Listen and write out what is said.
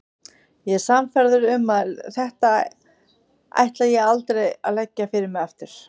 Ég er sannfærður um að þetta ætla ég aldrei að leggja fyrir mig aftur.